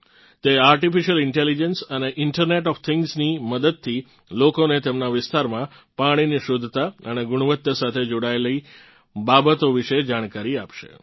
તે artificial intelligence અને internet of thingsની મદદથી લોકોને તેમનાં વિસ્તારમાં પાણીની શુદ્ધતા અને ગુણવત્તા સાથે જોડાયેલ બાબતો વિશે જાણકારી આપશે